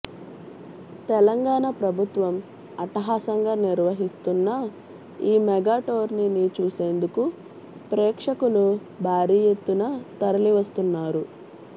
తెలంగాణ ప్రభుత్వం అట్టహాసంగా నిర్వహిస్తున్న ఈ మెగాటోర్నీని చూసేందుకు ప్రేక్షకులు భారీ ఎత్తున తరలివస్తున్నారు